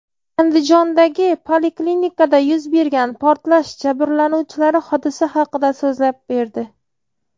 Andijondagi poliklinikada yuz bergan portlash jabrlanuvchilari hodisa haqida so‘zlab berdi.